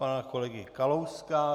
Pana kolegy Kalouska...